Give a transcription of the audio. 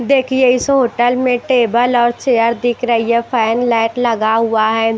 देखिए इस होटल में टेबल और चेयर दिख रही है फैन लाइट लगा हुआ है।